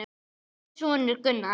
Þinn sonur Gunnar.